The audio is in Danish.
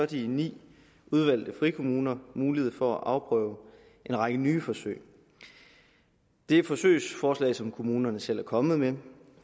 de ni frikommuner mulighed for at afprøve en række nye forsøg det er forsøgsforslag som kommunerne selv er kommet med